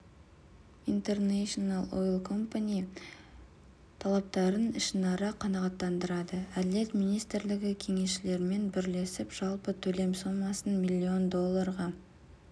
интернэшнл ойл компани талаптарын ішінара қанағаттандырды әділет министрлігі кеңесшілерімен бірлесіп жалпы төлем сомасын миллион долларға